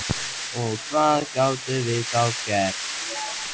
Og hvað gátum við þá gert?